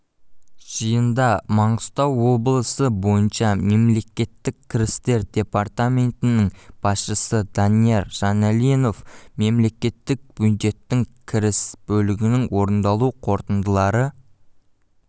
жиында маңғыстау облысы бойынша мемлекеттік кірістер департаментінің басшысы данияр жаналинов мемлекеттік бюджеттің кіріс бөлігінің орындалу қорытындылары